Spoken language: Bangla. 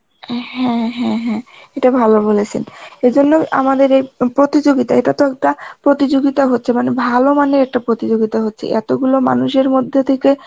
হ্যাঁ হ্যাঁ হ্যাঁ, ইটা ভালো বলেছেন, এই জন্য আমাদের এই প্রতিযোগিতা, এটা তো একটা প্রতিযোগিতা হচ্ছে মানে ভালো মানের প্রতিযোগিতা হচ্ছে, এই এত গুলো মানুষের মধ্যে থেকে